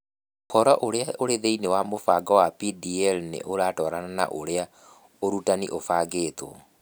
Ũhoro ũrĩa ũrĩ thĩinĩ wa mũbango wa DPL nĩ ũratwarana na ũrĩa ũrutani ũbangĩtwo.